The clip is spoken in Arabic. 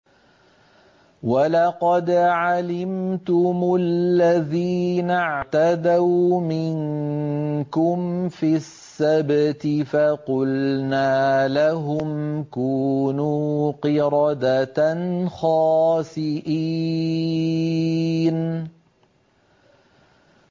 وَلَقَدْ عَلِمْتُمُ الَّذِينَ اعْتَدَوْا مِنكُمْ فِي السَّبْتِ فَقُلْنَا لَهُمْ كُونُوا قِرَدَةً خَاسِئِينَ